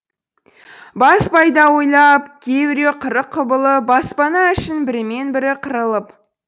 бас пайда ойлап кейбіреу қырық құбылып баспана үшін бірімен бірі қырылып